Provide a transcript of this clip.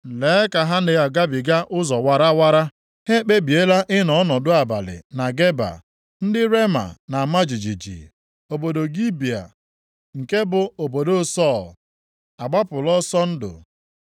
Lee ka ha na-agabiga ụzọ warawara; ha ekpebiela ịnọ ọnọdụ abalị na Geba! Ndị Rema na-ama jijiji, obodo Gibea nke bụ obodo Sọl agbapụla ọsọ ndụ.